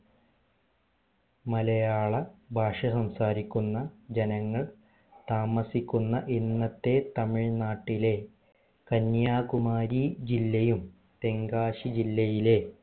മലയാള ഭാഷ സംസാരിക്കുന്ന ജനങ്ങൾ താമസിക്കുന്ന ഇന്നത്തെ തമിഴ്‌നാട്ടിലെ കന്യാകുമാരി ജില്ലയും തെങ്കാശി ജില്ലയിലെ